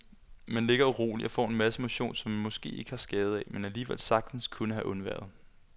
Man ligger uroligt og får en masse motion, som man måske ikke har skade af, men alligevel sagtens kunne have undværet.